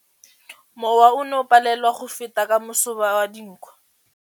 Mowa o ne o palelwa ke go feta ka masoba a dinko.